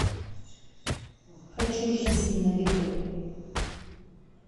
хочу жизнь на виду